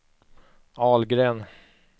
Ahlgren